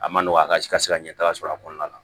A ma nɔgɔn a ka si ka se ka ɲɛtaga sɔrɔ a kɔnɔna na